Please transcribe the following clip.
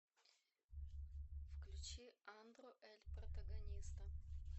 включи андро эль протагониста